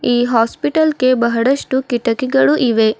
ಈ ಹಾಸ್ಪಿಟಲ್ ಗೆ ಬಹಳಷ್ಟು ಕಿಟಕಿಗಳು ಇವೆ.